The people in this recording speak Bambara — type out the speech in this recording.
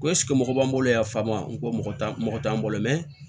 Ko mɔgɔ b'an bolo yan fankon t'an mɔgɔ t'an bolo mɛ